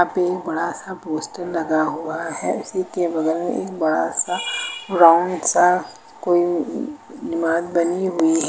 बहुत बड़ा सा पोस्टर लगा हुआ है उसी के बगल में एक बड़ा सा राउंड सा कोउ अ इमारत बनी हुई है।